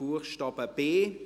Buchstabe b.